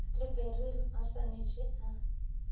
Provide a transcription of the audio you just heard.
le beryl a swaneteše a